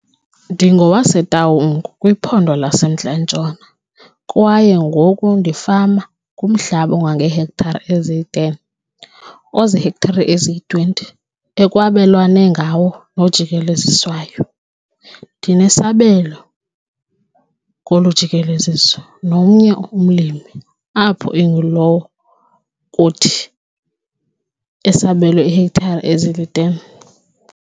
NdingowaseTaung kwiPhondo laseMntla Ntshona kwaye ngoku ndifama kumhlaba ongangeehektare ezili-10 oziihektare eziyi-20 ekwabelwana ngawo nojikeleziswayo. Ndinesabelo kolu jikeleziso nomnye umlimi apho ingulowo kuthi esabelwa iihektare ezili-10.